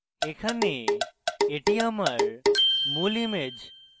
এখানে এটি আমার মূল image